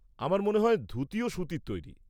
আমার মনে হয় ধুতিও সুতির তৈরি।